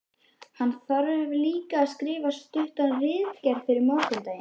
Hann þarf líka að skrifa stutta ritgerð fyrir morgundaginn.